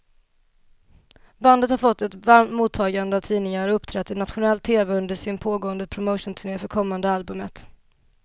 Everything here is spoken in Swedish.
Bandet har fått ett varmt mottagande av tidningar och uppträtt i nationell tv under sin pågående promotionturné för kommande albumet.